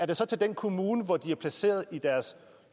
det så til den kommune hvor de er placeret i deres